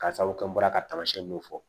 Karisaw an bɔra ka tamasiɲɛ dɔ fɔ